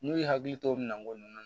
N'u y'u hakili to o minɛnko ninnu na